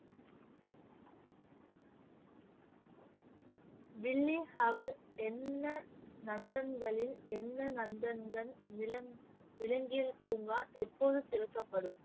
என்ன நந்தன்களில் என்ன நந்தன்கன் விலங்~ விலங்கியல் பூங்கா எப்போது திறக்கபடும்?